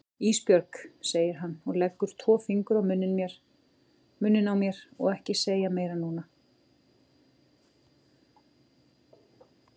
Ísbjörg, segir hann og leggur tvo fingur á munninn á mér, ekki segja meira núna.